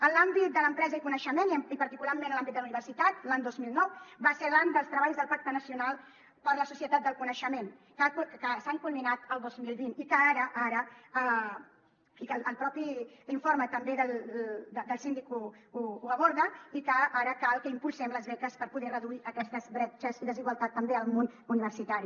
en l’àmbit de l’empresa i coneixement i particularment en l’àmbit de la universitat l’any dos mil nou va ser l’any dels treballs del pacte nacional per a la societat del coneixement que s’han culminat el dos mil vint i que ara i que el mateix informe també del síndic ho aborda cal que impulsem les beques per poder reduir aquestes bretxes i desigualtats també al món universitari